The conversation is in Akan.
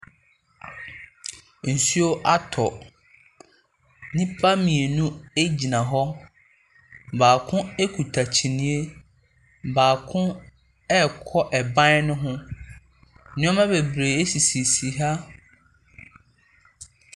Nsuo atɔ. Nnipa mmienu ɛgyina hɔ. Baako ɛkuta kyiniye, baako ɛɛkɔ ɛban ne ho. Nnoɔma bebree ɛsisisi ha .